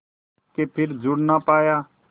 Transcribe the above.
के फिर जुड़ ना पाया